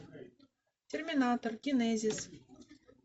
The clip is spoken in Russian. терминатор генезис